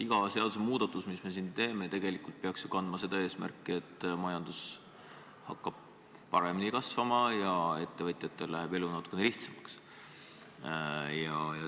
Iga seadusemuudatus, mis me siin teeme, peaks tegelikult ju kandma seda eesmärki, et majandus hakkab paremini kasvama ja ettevõtjatel läheb elu natukene lihtsamaks.